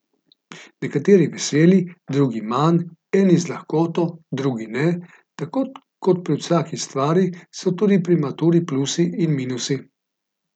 Nekateri veseli, drugi manj, eni z lahkoto, drugi ne, tako kot pri vsaki stvari so tudi pri maturi plusi in minusi.